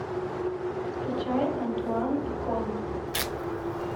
скачай антуан и коллет